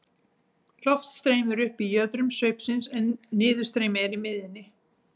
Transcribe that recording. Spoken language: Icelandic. Loft streymir upp í jöðrum sveipsins en niðurstreymi er í miðjunni.